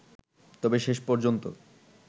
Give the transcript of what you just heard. তবে শেষ পর্যন্ত